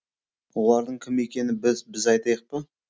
олардың кім екенін біз айтайық па